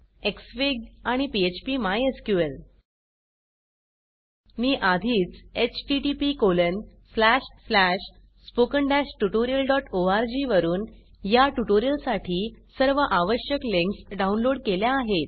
Xfig Xfig आणि phpमायस्क्ल मी आधीच httpspoken tutorialorg वरुन या ट्यूटोरियल साठी सर्व आवश्यक लिंक्स डाउनलोड केल्या आहेत